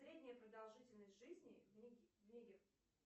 средняя продолжительность жизни в нигер